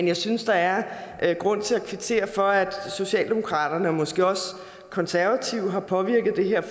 jeg synes der er grund til at kvittere for at socialdemokraterne og måske også de konservative har påvirket det her